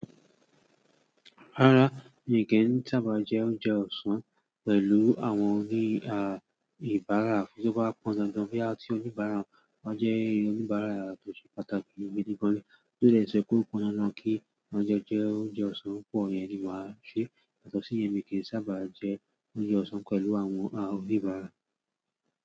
Rárá mi kò sábà jẹ oúnjẹ ọ̀sán pẹ̀lú àwọn oníbàárà. Bí ó bá pọ̀n tó dandan pé a tí oníbàárà, wọ́n jẹ́ oníbàárà tó ṣe pàtàkì ni òní gidi gan. Kí ó lè sọ kó pọn dandan kí oúnjẹ jẹ́ oúnjẹ ọ̀sán púpọ̀ ni màá ṣe yàtọ̀sí yẹn. Mi kò sábà jẹ oúnjẹ ọ̀sán pẹ̀lú àwọn oníbàárà.